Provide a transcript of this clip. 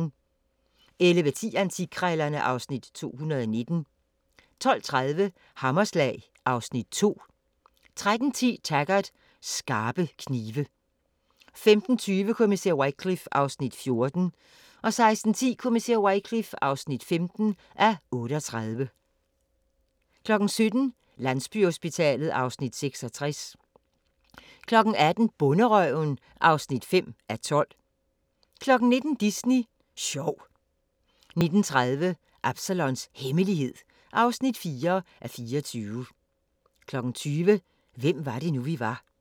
11:10: Antikkrejlerne (Afs. 219) 12:30: Hammerslag (Afs. 2) 13:10: Taggart: Skarpe knive 15:20: Kommissær Wycliffe (14:38) 16:10: Kommissær Wycliffe (15:38) 17:00: Landsbyhospitalet (Afs. 66) 18:00: Bonderøven (5:12) 19:00: Disney Sjov 19:30: Absalons Hemmelighed (4:24) 20:00: Hvem var det nu, vi var?